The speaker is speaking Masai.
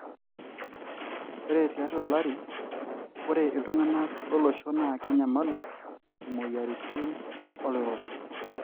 ore tiatua olari, ore iltungana lolosho na kenyamalu imoyiaritin oloirobi.